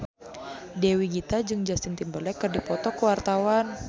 Dewi Gita jeung Justin Timberlake keur dipoto ku wartawan